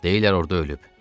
Deyirlər orda ölüb.